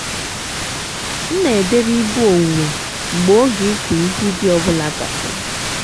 m na-edeba ibu owuwe mgbe oge ịkụ ihe ubi ọ bụla gasịrị.